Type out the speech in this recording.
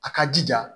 A ka jija